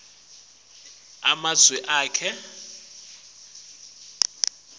onkhe emafekthri emitsi